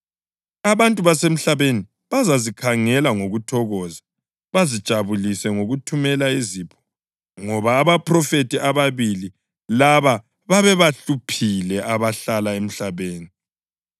Abantu basemhlabeni bazazikhangela ngokuthokoza bazijabulise ngokuthumela izipho ngoba abaphrofethi ababili laba babebahluphile abahlala emhlabeni.